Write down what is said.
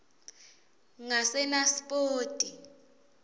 ngasenaspoti